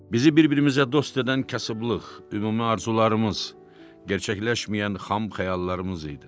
Bizi bir-birimizə dost edən kasıblıq, ümumi arzularımız, gerçəkləşməyən xam xəyallarımız idi.